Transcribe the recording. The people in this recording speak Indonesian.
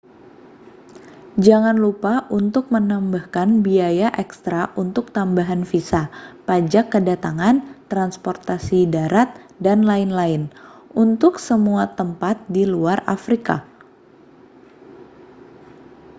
jangan lupa untuk menambahkan biaya ekstra untuk tambahan visa pajak kedatangan transportasi darat dll untuk semua tempat di luar afrika